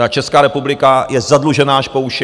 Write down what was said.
Česká republika je zadlužená až po uši.